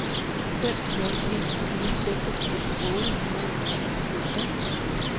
fem nul en fire seksogfirs otte hundrede og fireogtres